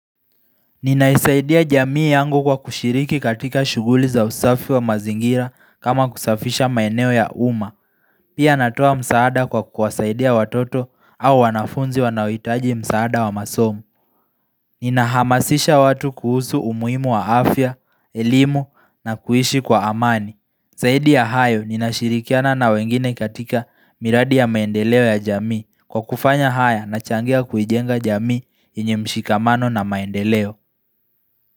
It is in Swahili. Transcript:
Ninaisaidia jamii yangu kwa kushiriki katika shuguli za usafi wa mazingira kama kusafisha maeneo ya uma. Pia natoa msaada kwa kuwasaidia watoto au wanafunzi wanaoitaji msaada wa masomo. Ninahamasisha watu kuhusu umuhimu wa afya, elimu na kuishi kwa amani. Saidi ya hayo ninashirikiana na wengine katika miradi ya maendeleo ya jamii kwa kufanya haya nachangia kuijenga jamii yenye mshikamano na maendeleo.